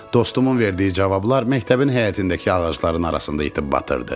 Dostumun verdiyi cavablar məktəbin həyətindəki ağacların arasında itib batırdı.